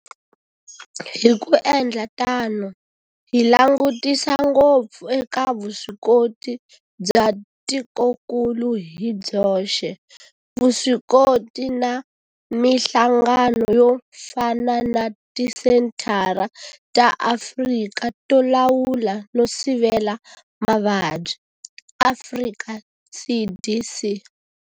Hi ku endla tano hi langutisa ngopfu eka vuswikoti bya tikokulu hi byoxe, vuswikoti na mihlangano yo fana na Tisenthara ta Afrika to Lawula no Sivela Mavabyi, Afrika CDC.